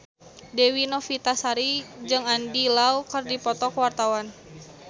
Dewi Novitasari jeung Andy Lau keur dipoto ku wartawan